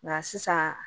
Nka sisan